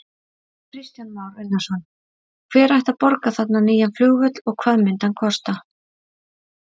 Kristján Már Unnarsson: Hver ætti að borga þarna nýja flugvöll og hvað myndi hann kosta?